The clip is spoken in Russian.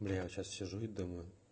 бля я вот сейчас сижу и думаю